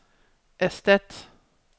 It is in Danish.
erstat